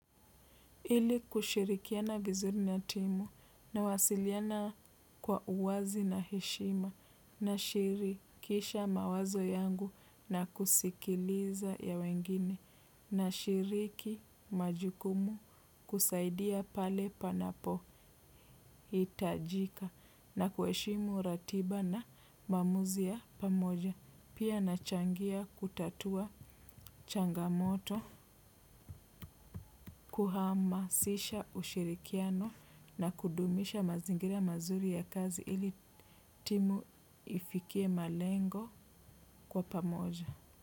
Ili kushirikiana vizuri na timu nawasiliana kwa uwazi na heshima nashirikisha mawazo yangu na kusikiliza ya wengine nashiriki majukumu kusaidia pale panapohitajika na kuheshimu ratiba na maamuzi ya pamoja. Pia nachangia kutatua changamoto kuhamasisha ushirikiano na kudumisha mazingira mazuri ya kazi ili timu ifikie malengo kwa pamoja.